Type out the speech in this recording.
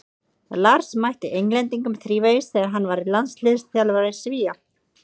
Lars mætti Englendingum þrívegis þegar hann var landsliðsþjálfari Svía.